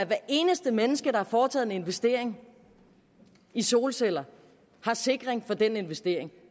hvert eneste menneske der har foretaget en investering i solceller har sikring for den investering